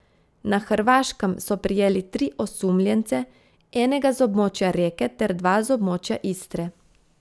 Na Hrvaškem so prijeli tri osumljence, enega z območja Reke ter dva z območja Istre.